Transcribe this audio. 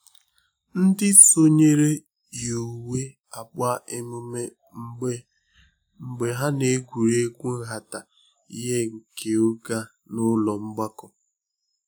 Ndị sonyere yi uwe agba emume mgbe mgbe ha na-egwuri egwu nhata ihe nke oge a n’ụlọ mgbakọ